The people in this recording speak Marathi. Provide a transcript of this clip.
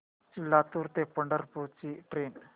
लातूर ते पंढरपूर ची ट्रेन